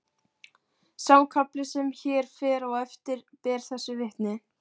Sá kafli sem hér fer á eftir ber þessu vitni